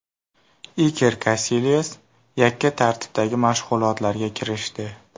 Iker Kasilyas yakka tartibdagi mashg‘ulotlarga kirishdi.